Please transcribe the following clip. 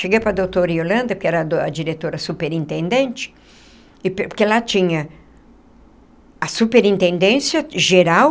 Cheguei para a doutora Yolanda, que era a diretora superintendente, porque lá tinha a superintendência geral,